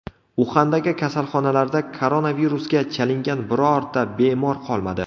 Uxandagi kasalxonalarda koronavirusga chalingan birorta bemor qolmadi.